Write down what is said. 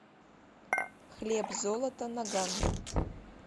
хлеб золото наган